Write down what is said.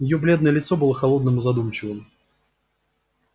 её бледное лицо было холодным и задумчивым